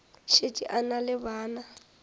šetše a na le bana